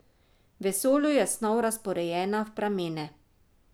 V vesolju je snov razporejena v pramene.